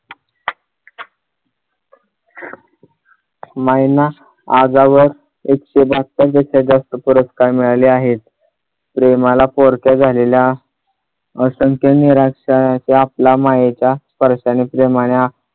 माईंना आजवर एकशे बहात्तर त्याच्यापेक्षा जास्त पुरस्कार मिळाले आहेत. प्रेमाला पोरक्या झालेल्या असंख्य निराशय आपल्या मायेचा स्पर्शाने प्रेमाने